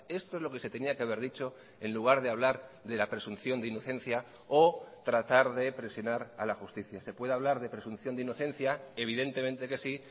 esto es lo que se tenía que haber dicho en lugar de hablar de la presunción de inocencia o tratar de presionar a la justicia se puede hablar de presunción de inocencia evidentemente que sí